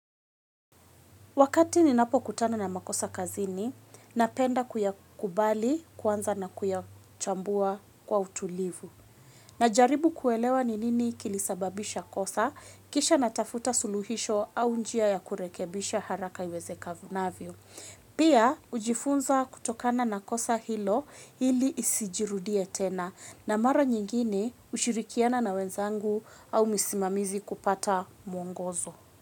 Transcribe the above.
Wakati ninapo kutana na makosa kazini, napenda kuyakubali kwanza na kuyachambua kwa utulivu. Najaribu kuelewa ninini kilisababisha kosa, kisha natafuta suluhisho au njia ya kurekebisha haraka yweze kavunavyo. Pia, ujifunza kutokana na kosa hilo hili isijirudie tena na mara nyingini ushirikiana na wenzangu au misimamizi kupata mwongozo.